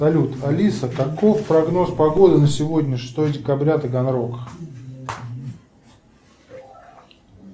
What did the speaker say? салют алиса каков прогноз погоды на сегодня шестое декабря таганрог